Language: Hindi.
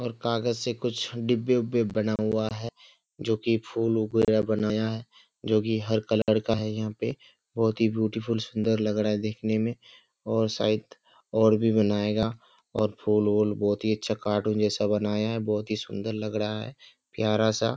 और कागज से कुछ डिब्बे-उब्बे बना हुआ है जो की फूल वगैरा बनाया है जो की हर कलर का है यहाँ पे। बहुत ही ब्यूटीफुल सुन्दर लग रहा है देखने में और शायद और भी बनाएगा और फूल-वूल बहुत ही अच्छा कार्टून जैसा बनाया है। बहुत ही सुन्दर लग रहा है प्यारा सा --